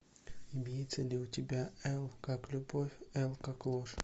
имеется ли у тебя л как любовь л как ложь